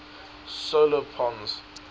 solar pons